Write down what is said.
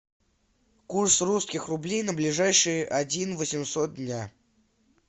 курс русских рублей на ближайшие один восемьсот дня